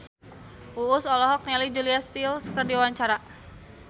Uus olohok ningali Julia Stiles keur diwawancara